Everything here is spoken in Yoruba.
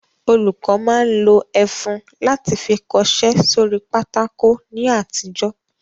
Olùkọ́ máa ń lo ẹfun láti fi kọṣẹ́ sórí pátákó ní àtijọ́